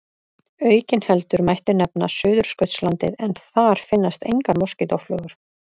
Aukinheldur mætti nefna Suðurskautslandið en þar finnast engar moskítóflugur.